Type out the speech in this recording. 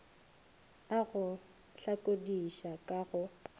a go hlakodiša ka go